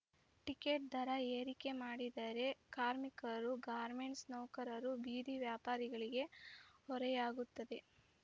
ticket ದರ ಏರಿಕೆ ಮಾಡಿದರೆ ಕಾರ್ಮಿಕರು ಗಾರ್ಮೆಂಟ್ಸ್‌ ನೌಕರರು ಬೀದಿ ವ್ಯಾಪಾರಿಗಳಿಗೆ ಹೊರೆಯಾಗುತ್ತದೆ